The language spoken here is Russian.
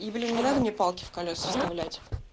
и блин не надо мне палки в колеса вставлять